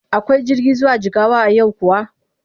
Akwai jirgi zuwa Jigawa a yau kuwa?